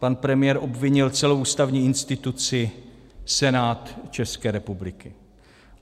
Pan premiér obvinil celou ústavní instituci, Senát České republiky.